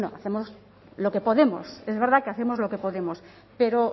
lo que podemos es verdad que hacemos lo que podemos